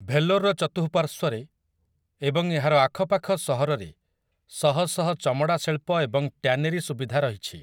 ଭେଲୋର୍‌ର ଚତୁଃପାର୍ଶ୍ୱରେ ଏବଂ ଏହାର ଆଖପାଖ ସହରରେ ଶହଶହ ଚମଡ଼ା ଶିଳ୍ପ ଏବଂ ଟ୍ୟାନେରୀ ସୁବିଧା ରହିଛି ।